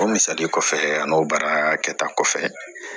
O misali kɔfɛ an n'o baara kɛta kɔfɛ